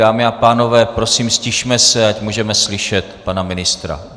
Dámy a pánové, prosím, ztišme se, ať můžeme slyšet pana ministra.